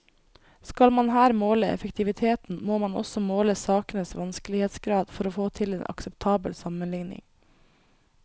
Skal man her måle effektiviteten, må man også måle sakenes vanskelighetsgrad for å få til en akseptabel sammenligning.